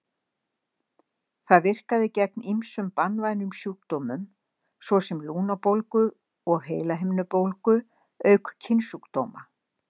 Það virkaði gegn ýmsum banvænum sjúkdómum, svo sem lungnabólgu og heilahimnubólgu, auk kynsjúkdóma.